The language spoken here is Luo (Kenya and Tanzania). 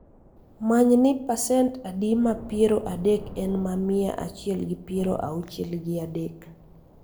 Many ni pasent adi ma piero adek en ma mia achiel gi piero auchiel gi adek